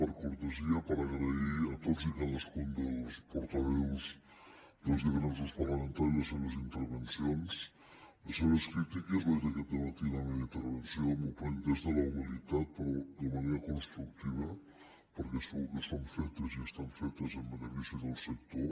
per cortesia per agrair a tots i cadascun dels portaveus dels diferents grups parlamentaris les seves intervencions les seves crítiques ho he dit aquest dematí en la meva intervenció m’ho prenc des de la humilitat però de manera constructiva perquè segur que són fetes i estan fetes en benefici del sector